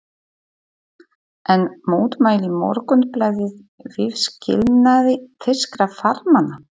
Enn mótmælti Morgunblaðið viðskilnaði þýskra farmanna.